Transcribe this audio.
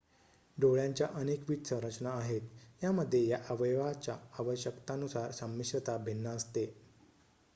डोळ्यांच्या अनेकविध संरचना आहेत यामध्ये या अवयवाच्या आवश्यकतांनुसार संमिश्रता भिन्न असते